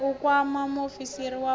u kwama muofisi wa u